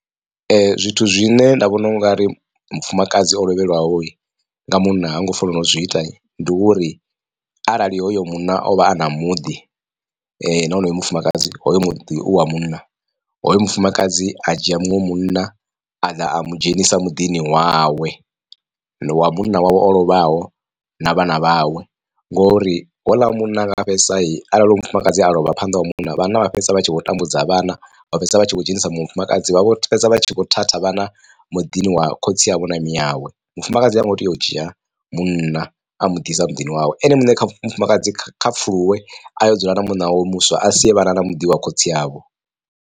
Zwithu zwine nda vhona ungari mufumakadzi o lovhelwaho nga munna ha ngo fanela u zwi ita ndi uri arali hoyo munna o vha a na muḓi na honoyo mufumakadzi hoyo muḓi u wa munna, hoyo mufumakadzi a dzhia muṅwe munna a ḓa a mu dzhenisa muḓini wawe wa munna wawe o lovhaho na vhana vhawe, ngori houḽa munna anga fhedzisa arali hoyu mufumakadzi a lovha phanḓa wa munna vhanna vha fhedzisela vha tshi vho tambudza vhana vha fhedzisela vha tshi khou dzhenisa mufumakadzi vha vho fhedza vha tshi kho thatha vhana muḓini wa khotsi avho na miawe. Mufumakadzi ha ngo tea u dzhia munna a muḓisa muḓini wawe ene muṋe kha mufumakadzi kha pfhuluwe a yo dzula na munna wawe muswa a sie vhana na muḓi wa khotsi avho.